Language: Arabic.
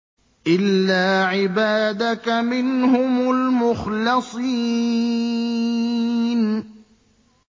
إِلَّا عِبَادَكَ مِنْهُمُ الْمُخْلَصِينَ